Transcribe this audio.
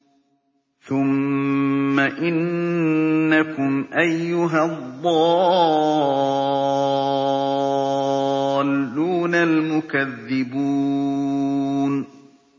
ثُمَّ إِنَّكُمْ أَيُّهَا الضَّالُّونَ الْمُكَذِّبُونَ